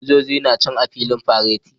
Sojojin na can a filin fareti